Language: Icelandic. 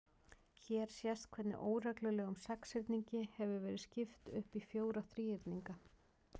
Hér sést hvernig óreglulegum sexhyrningi hefur verið skipt upp í fjóra þríhyrninga.